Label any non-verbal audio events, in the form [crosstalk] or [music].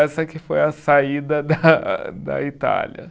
Essa que foi a saída da [laughs] da Itália.